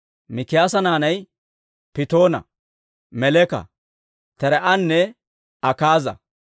Mikiyaasa naanay Pittoona, Meleka, Taree'anne Akaaza.